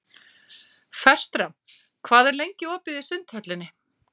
Fertram, hvað er lengi opið í Sundhöllinni?